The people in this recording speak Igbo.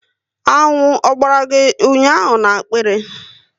Aṅụ Ogbara gị ụnyaahụ n'akpiari